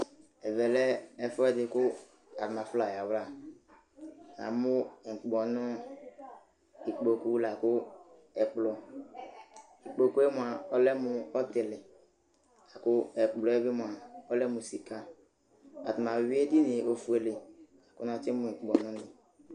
Ɛvɛ lɛ ɛfʋɛdɩ kʋ arnafla ayava Namʋ ukpɔnʋ, ikpoku la kʋ ɛkplɔ Ikpoku yɛ mʋa, ɔlɛ mʋ ɔtɩlɩ la kʋ ɛkplɔ yɛ bɩ mʋa, ɔlɛ mʋ sɩka Atanɩ ayʋɩ edini yɛ ofuele kʋ natsɩmʋ ukpɔnunɩ